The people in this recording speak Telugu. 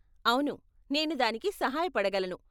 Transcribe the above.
అవును, నేను దానికి సహాయపడగలను.